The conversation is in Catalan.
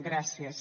gràcies